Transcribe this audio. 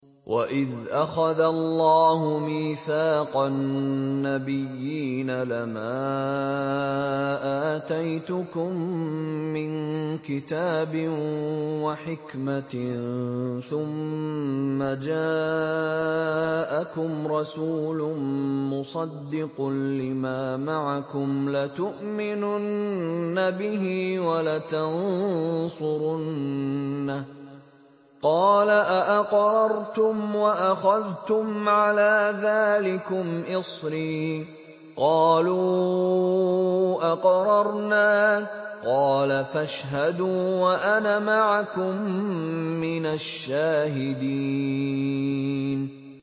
وَإِذْ أَخَذَ اللَّهُ مِيثَاقَ النَّبِيِّينَ لَمَا آتَيْتُكُم مِّن كِتَابٍ وَحِكْمَةٍ ثُمَّ جَاءَكُمْ رَسُولٌ مُّصَدِّقٌ لِّمَا مَعَكُمْ لَتُؤْمِنُنَّ بِهِ وَلَتَنصُرُنَّهُ ۚ قَالَ أَأَقْرَرْتُمْ وَأَخَذْتُمْ عَلَىٰ ذَٰلِكُمْ إِصْرِي ۖ قَالُوا أَقْرَرْنَا ۚ قَالَ فَاشْهَدُوا وَأَنَا مَعَكُم مِّنَ الشَّاهِدِينَ